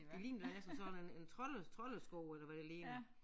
Det ligner næsten sådan en en trolde troldesko eller hvad det ligner